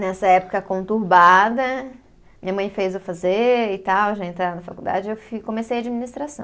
Nessa época conturbada, minha mãe fez eu fazer e tal, já entrar na faculdade, eu fi, comecei administração.